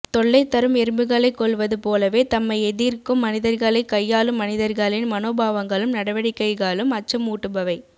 தொல்லைதரும் எறும்புகளைக் கொல்வது போலவே தம்மை எதிர்க்கும் மனிதர்களைக் கையாளும் மனிதர்களின் மனோபாவங்களும் நடவடிக்கைகளும் அச்சமூட்டுபவை